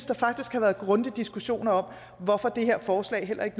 der faktisk være grundige diskussioner om hvorfor det her forslag heller ikke